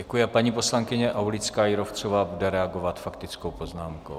Děkuji a paní poslankyně Aulická Jírovcová bude reagovat faktickou poznámkou.